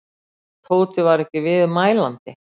Tóti var ekki viðmælandi.